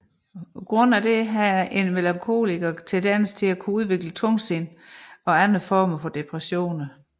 Grundet dette har en melankoliker tendenser til at kunne udvikle tungsind og andre former for depressioner